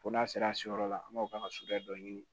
Fo n'a sera siyɔrɔ la an b'a k'a ka suguya dɔ ɲini